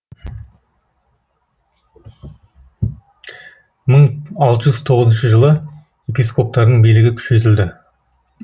мың алты жүз тоқсаныншы жылы епископтардың билігі күшейтілді